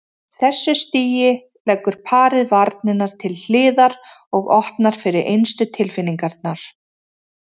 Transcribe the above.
þessu stigi leggur parið varnirnar til hliðar og opnar fyrir innstu tilfinningarnar.